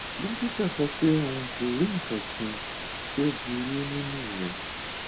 dókítà sọ pé òun kò rí nǹkan kan tó burú nínú rẹ